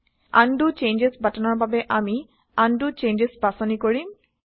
undo changes বাটনৰ বাবে আমি উণ্ড চেঞ্জছ বাচনি কৰিম